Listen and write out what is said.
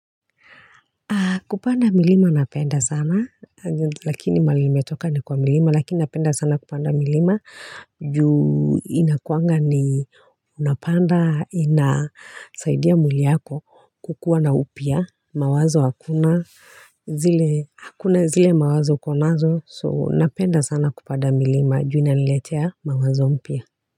Kupanda milima napenda sana lakini mahali nimetoka ni kwa mlima lakini napenda sana kupanda milima juu inakuanga ni unapanda inasaidia mwili yako kukuwa na upya mawazo hakuna hakuna zile mawazo uko nazo so napenda sana kupanda milima juu inaletea mawazo mpya.